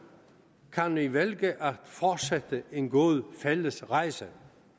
kan vi vælge at fortsætte en god fælles rejse